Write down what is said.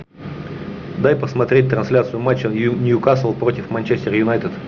дай посмотреть трансляцию матча ньюкасл против манчестер юнайтед